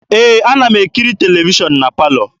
Ee, ana m ekiri televishọn na palọ.